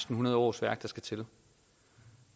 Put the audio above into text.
hundrede årsværk der skal til